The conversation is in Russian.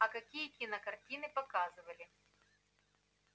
а какие кинокартины показывали